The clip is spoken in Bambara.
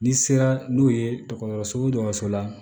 N'i sera n'o ye dɔgɔtɔrɔso dɔ sɔrɔ la